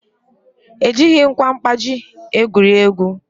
Ejighị ngwa mkpaji egwuri egwu